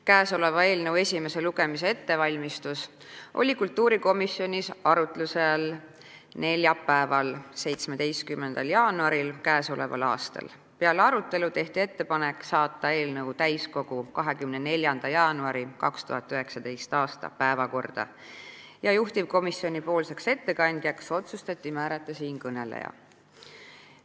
Eelnõu esimese lugemise ettevalmistus oli kultuurikomisjonis arutusel neljapäeval, 17. jaanuaril k.a. Peale arutelu tehti ettepanek saata eelnõu täiskogu 24. jaanuari 2019. aasta päevakorda ja juhtivkomisjoni ettekandjaks otsustati määrata siinkõneleja.